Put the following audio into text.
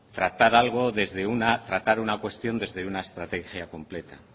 tratar una cuestión desde una estrategia completa